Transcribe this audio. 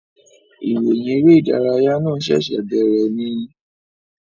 Ìròyìn eré ìdárayá náà ṣẹ̀ṣẹ̀ bèèrè ni